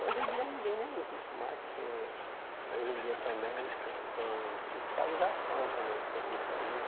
Hoje em dia ninguém nem usa isso mais, porque hoje em dia também tem fiscalização também sobre isso aí, né?